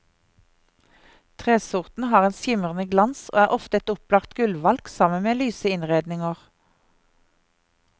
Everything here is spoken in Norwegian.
Tresorten har en skimrende glans og er ofte et opplagt gulvvalg sammen med lyse innredninger.